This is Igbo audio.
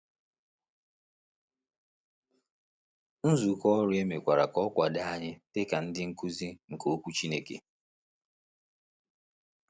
Nzukọ Ọrụ e mekwara ka ọ kwado anyị dị ka ndị nkuzi nke Okwu Chineke.